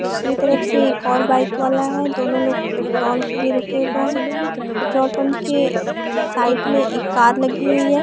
दूसरी तरफ से एक और बाइक वाला है दोनों लोग पेट्रोल के लिए रुके हुए हैं पेट्रोल पंप के साइड में एक कार लगी हुई है।